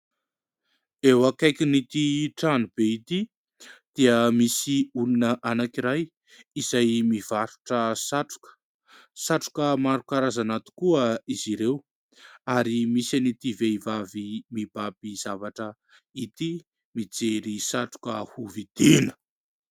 Eo akaikin'ity tranobe ity dia misy olona anankiray izay mivarotra satroka ; satroka maro karazana tokoa izy ireo ary misy an'ity vehivavy mibaby zavatra ity , mijery satroka hovidiana.